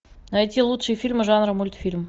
найти лучшие фильмы жанра мультфильм